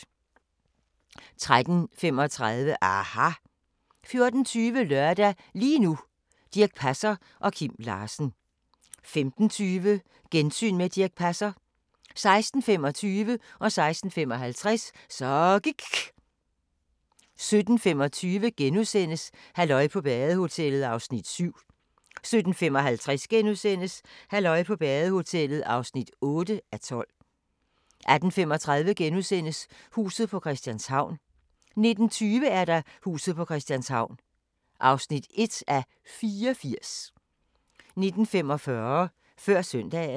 13:35: aHA! 14:20: Lørdag – lige nu: Dirch Passer og Kim Larsen 15:20: Gensyn med Dirch Passer 16:25: Så gIKK' 16:55: Så gIKK' 17:25: Halløj på badehotellet (7:12)* 17:55: Halløj på badehotellet (8:12)* 18:35: Huset på Christianshavn * 19:20: Huset på Christianshavn (1:84) 19:45: Før Søndagen